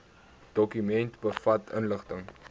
dokument bevat inligting